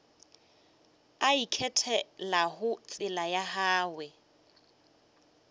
a ikgethelago tsela ya gagwe